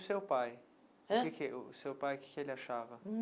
O seu pai, hã o que que o seu pai o que é que ele achava?